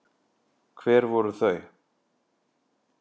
Hver voru þau?